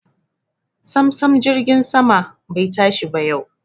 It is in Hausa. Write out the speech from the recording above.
Samsam jirgin sama bai tashi ba yau.